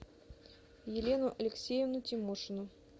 елену алексеевну тимошину